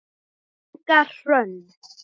Inga Hrönn.